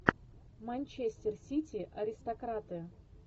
манчестер сити аристократы